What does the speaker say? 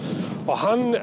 hann